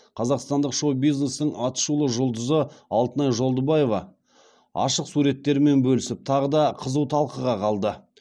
қазақстандық шоу бизнестің атышулы жұлдызы алтынай жолдыбаева ашық суреттерімен бөлісіп тағы да қызу талқыға қалды